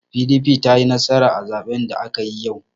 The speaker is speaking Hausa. PDP ta yi nasara a zaben da aka yi yau.